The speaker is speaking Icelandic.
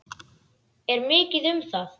Er mikið um það?